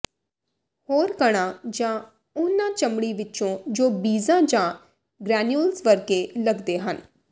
ਹੋਰ ਕਣਾਂ ਜਾਂ ਉਨ੍ਹਾਂ ਚਮੜੀ ਵਿੱਚ ਜੋ ਬੀਜਾਂ ਜਾਂ ਗ੍ਰੈਨਿਊਲ ਵਰਗੇ ਲੱਗਦੇ ਹਨ